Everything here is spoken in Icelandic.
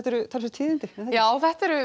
eru talsverð tíðindi já þetta eru